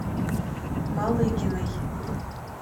малыгиной